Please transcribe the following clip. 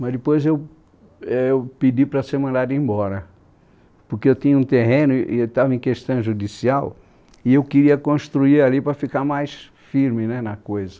Mas depois eu éh eu pedi para ser mandado embora, porque eu tinha um terreno e estava em questão judicial e e eu queria construir ali para ficar mais firme na coisa.